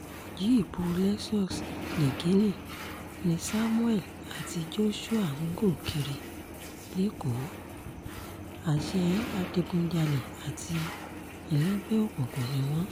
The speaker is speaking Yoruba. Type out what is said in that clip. jíìpù lexus niginni ni samuel àti joshua ń gùn kiri lẹ́kọ̀ọ́ àṣẹ adigunjalè àti ẹlẹgbẹ́ òkùnkùn ni wọ́n